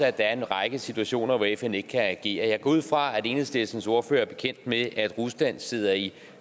at der er en række situationer hvor fn ikke kan agere jeg går ud fra at enhedslistens ordfører er bekendt med at rusland sidder i